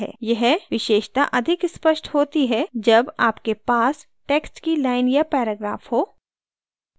यह विशेषता अधिक स्पष्ट होती है जब आपके पास text की line या paragraph हो